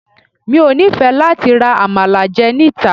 Mi ò nífẹ̀ẹ́ láti ra Àmàlà jẹ níta.